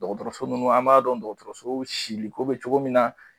Dɔgɔtɔrɔso ninnu an b'a dɔn dɔgɔtɔrɔso siliko bɛ cogo min na